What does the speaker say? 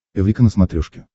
эврика на смотрешке